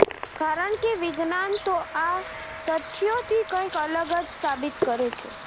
કારણ કે વિજ્ઞાન તો આ તથ્યોથી કંઈક અલગ જ સાબિત કરે છે